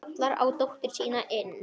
Kallar á dóttur sína inn.